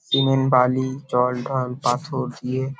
cement বালি জল ঢলপাথর দিয়ে--